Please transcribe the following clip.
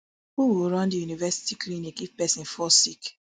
who go run di university clinic if pesin fall sick